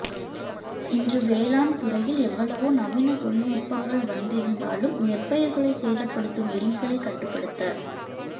இன்று வேளாண் துறையில் எவ்வளவோ நவீன தொழில் நுட்பங்கள் வந்திருந்தாலும் நெற்பயிர்களை சேதப்படுத்தும் எலிகளை கட்டுப்படுத்த